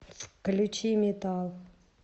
включи метал